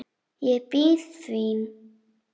Ég bíð þín.